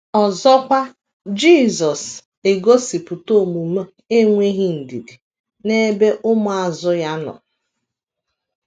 Ọzọkwa, Jisọs egosipụta omume enweghị ndidi n’ebe ụmụazụ ya nọ.